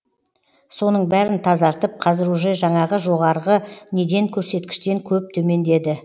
соның бәрін тазартып қазір уже жаңағы жоғарғы неден көрсеткіштен көп төмендеді